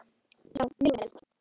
Já, mjög vel.